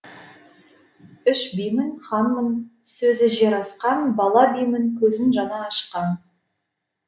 үш бимін ханмын сөзі жер асқан бала бимін көзін жаңа ашқан